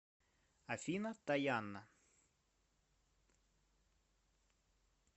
афина таянна